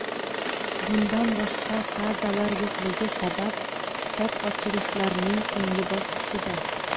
Bundan boshqa fazalar yo‘qligi sabab, shtat ochilishlarning so‘nggi bosqichida.